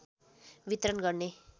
वितरण गर्ने